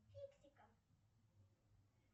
фиксиков